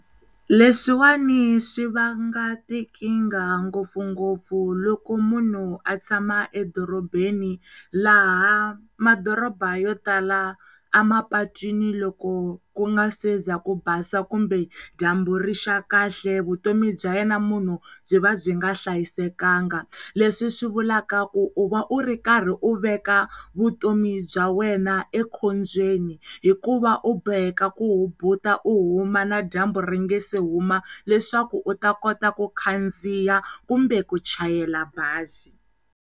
Leswiwani swi vanga tikinga ngopfungopfu loko munhu a tshama edorobeni laha madoroba yo tala emapatwini loko ku nga seza ku basa kumbe dyambu rixaka kahle vutomi bya yena munhu byi va byi nga hlayisekanga leswi swivulaka u u karhi u veka vutomi bya wena enkhobyeni hikuva u boheka ku hubuta u huma na dyambu ringasi huma leswaku u ta kota ku khandziya kumbe ku chayela bazi.